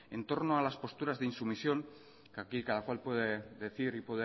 en torno a las posturas de insumisión que aquí cada cual puede decir y